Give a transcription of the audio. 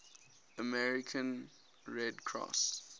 american red cross